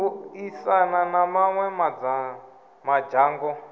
u aisana na mawe madzhango